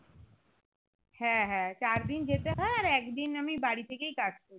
হ্যাঁ হ্যাঁ চার দিন যেতে হয় আর এক দিন আমি বাড়ি থেকেই কাজ করি